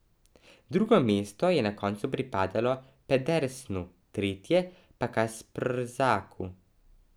Drugo mesto je na koncu pripadlo Pedersnu, tretje pa Kasprzaku.